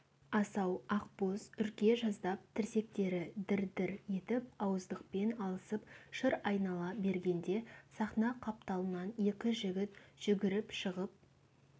асау ақбоз үрке жаздап тірсектері дір-дір етіп ауыздықпен алысып шыр айнала бергенде сахна қапталынан екі жігіт жүгіріп шығып